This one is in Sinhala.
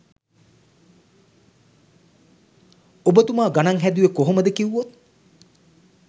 ඔබ තුමා ගනන් හැදුවේ කොහොමද කිවුවොත්